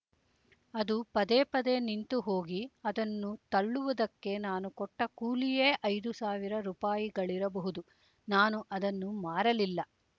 ಅದು ಪದೇ ಪದೇ ನಿಂತು ಹೋಗಿ ಅದನ್ನು ತಳ್ಳುವುದಕ್ಕೆ ನಾನು ಕೊಟ್ಟ ಕೂಲಿಯೇ ಐದು ಸಾವಿರ ರೂಪಾಯಿಗಳಿರಬಹುದು ನಾನು ಅದನ್ನು ಮಾರಲಿಲ್ಲ